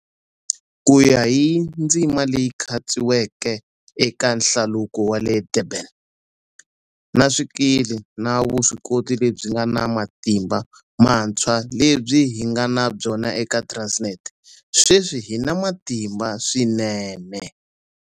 Ku ya hi ndzima leyi khatsiweke eka Hlaluko wa le Durban, na swikili na vuswikoti lebyi nga na matimba mantshwa lebyi hi nga na byona eka Transnet, sweswi hi na matimba swinene.